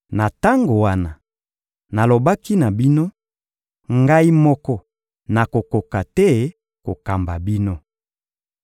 Na tango wana, nalobaki na bino: — Ngai moko nakokoka te kokamba bino.